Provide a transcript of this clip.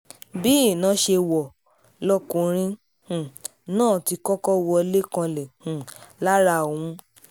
bí iná ṣe wọ̀ lọkùnrin um náà ti kọ́kọ́ wọlé kanlẹ̀ um lára òun